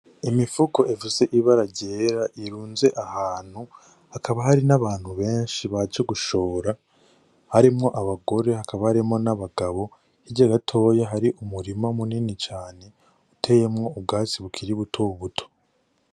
Imifuko ifise ibara ryera irunze ahantu, hakaba hari n'abantu benshi baje gushora harimwo abagore hakaba harimwo n'abagabo hirya gatoya hari umurima munini cane uteyemwo ubwatsi bukiri buto buto.